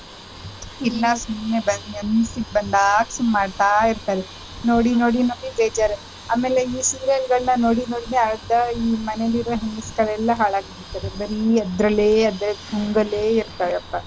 ಸುಮ್ನೆ ಬಂದ್~ ಮನ್ಸಿಗ್ ಬಂದಾಗ್ ಸುಮ್ನ್ ಮಾಡ್ತಾ ಇರ್ತಾರೆ ನೋಡಿ ನೋಡಿ ನೋಡಿ ಬೇಜಾರ್ ಆಮೇಲೆ ಈ serial ಗಳನ್ ನೋಡಿ ನೋಡೀನೇ ಅರ್ಧ ಈ ಮನೇಲ್ ಇರೋ ಹೆಂಗಸ್ರ್ಗಳನ್ನ ಹಾಳಾಗಿ ಬಿಡ್ತಾರೆ ಬರೀ ಅದ್ರಲ್ಲೇ ಅದ್ರ ಗುಂಗಲ್ಲೇ ಇರ್ತಾರಪ್ಪಾ.